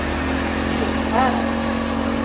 Ekshärad